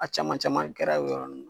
A caman caman kɛra o yɔrɔnin na.